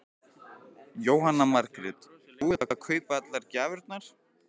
Jóhanna Margrét: Búið að kaupa allar gjafirnar?